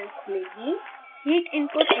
xcos file खुलेगी